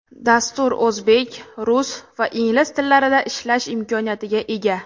Dastur o‘zbek, rus va ingliz tillarida ishlash imkoniyatiga ega.